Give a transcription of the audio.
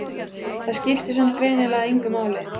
Það skipti samt greinilega engu máli.